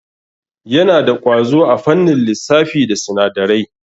Yana da ƙwazo a fannin lissafi da sinadarai.